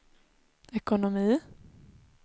ekonomi